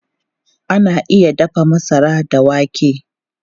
Ana iya dafa masara da wake.